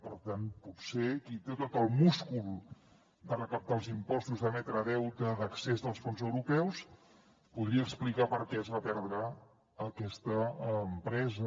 per tant potser qui té tot el múscul de recaptar els impostos d’emetre deute d’accés als fons europeus podria explicar per què es va perdre aquesta empresa